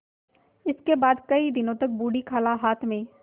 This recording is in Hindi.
इसके बाद कई दिन तक बूढ़ी खाला हाथ में